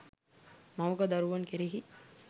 මවක දරුවන් කෙරෙහි